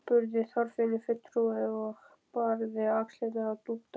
spurði Þorfinnur fulltrúi og barði á axlirnar á Dúdda.